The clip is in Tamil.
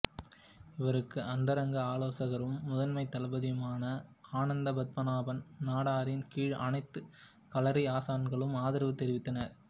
இவருக்கு அந்தரங்க ஆலோசகரும் முதன்மை தளபதியுமான அனந்தபத்மநாபன் நாடாரின் கீழ் அனைத்து களரி ஆசான்களும் ஆதரவு தெரிவித்தனர்